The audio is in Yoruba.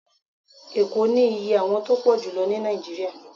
Eko ni íyẹ́ àwon tọ pojulo ni Naijiria